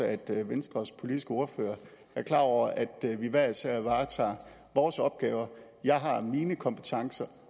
at venstres politiske ordfører er klar over at vi hver især varetager vores opgaver jeg har mine kompetencer